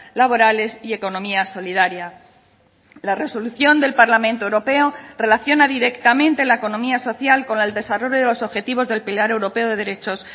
laborales y economía solidaria la resolución del parlamento europeo relaciona directamente la economía social con el desarrollo de los objetivos del pilar europeo de derechos